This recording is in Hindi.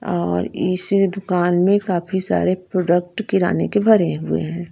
और इसी दुकान में काफी सारे प्रोडक्ट किराने के भरे हुए हैं।